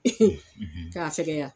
k'a fɛkɛya.